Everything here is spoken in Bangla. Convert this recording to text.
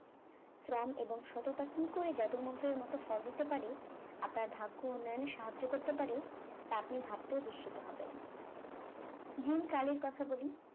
শ্রম এবং সততা কি করে জাদুমন্ত্রের মত ফল দিতে পারে আপনার ভাগ্য উন্নয়নে সাহায্য করতে পারে তা আপনি ভাবতেও বিস্মিত হবেন যেই কালের কথা বলি